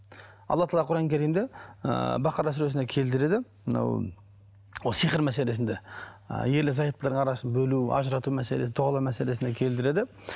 алла тағала құран кәрімде ыыы бақара сүресінде келтіреді мынау ол сиқыр мәселесінде ы ерлі зайыптылардың арасын бөлу ажырату мәселесі дұғалау мәселесін келтіреді